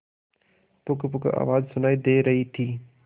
पुकपुक आवाज सुनाई दे रही थी